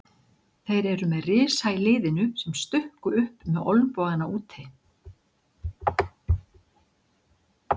Þeir eru með risa í liðinu sem stukku upp með olnbogana úti.